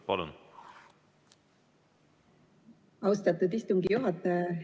Aitäh, austatud istungi juhataja!